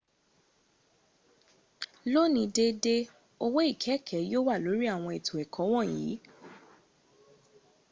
lóní déédé owó ikẹ́ẹ̀kẹ́ yíò wà lórí àwọn ètò ẹ̀kọ́ wọ̀nyí